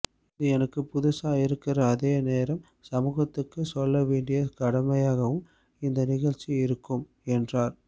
இது எனக்கு புதுசா இருக்கற அதே நேரம் சமூகத்துக்கு சொல்ல வேண்டிய கடமையாவும் இந்த நிகழ்ச்சி இருக்கும் என்றார்